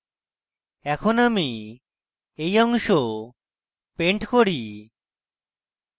এখন আমি এই অংশ paint করি